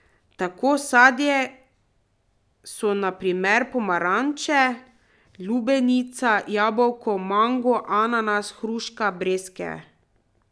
Tako sadje so na primer pomaranče, lubenica, jabolka, mango, ananas, hruške, breskve.